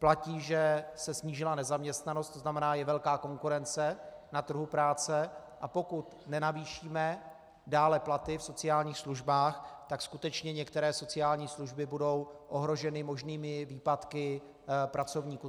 Platí, že se snížila nezaměstnanost, to znamená, je velká konkurence na trhu práce, a pokud nenavýšíme dále platy v sociálních službách, tak skutečně některé sociální služby budou ohroženy možnými výpadky pracovníků.